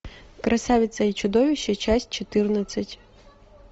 красавица и чудовище часть четырнадцать